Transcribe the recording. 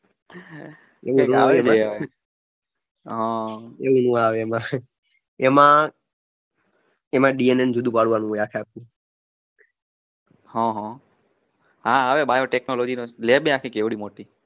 એમાં DNA ને જુદું પાડવાનું હોય આખે આખું. એમાં આવે lab એ આખી કેવળી આખી મોટી